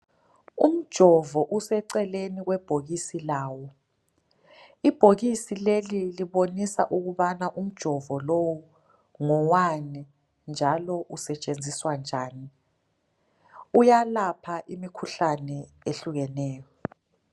Umjovo useceleni kwebhokisi lawo. Ibhokisi leli libonisa ukuba umjovo lo ngowani njalo usetshenziswa njani. Uyelapha imikhuhlane ehlukeneyo.